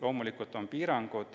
Loomulikult on piirangud.